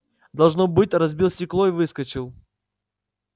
должно быть разбил стекло и выскочил